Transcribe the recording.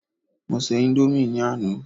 mo se Indomie ni Ana